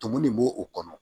Tumu de b'o o kɔnɔ